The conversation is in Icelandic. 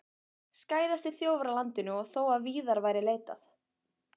Skæðasti þjófur á landinu og þó að víðar væri leitað!